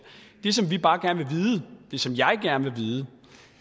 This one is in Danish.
det som vi bare gerne vil vide